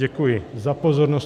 Děkuji za pozornost.